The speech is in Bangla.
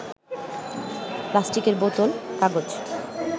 প্লাস্টিকের বোতল, কাগজ